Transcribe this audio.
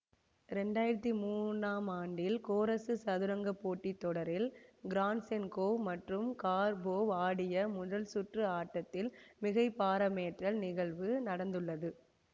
இரண்டு ஆயிரத்தி மூனாம் ஆண்டில் கோரசு சதுரங்க போட்டி தொடரில் கிராசென்கோவ் மற்றும் கார்போவ் ஆடிய முதல்சுற்று ஆட்டத்தில் மிகை பாரமேற்றல் நிகழ்வு நடந்துள்ளது